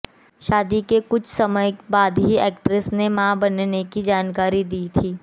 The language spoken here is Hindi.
शादी के कुछ समय बाद ही एक्ट्रेस ने मां बनने की जानकारी दी थी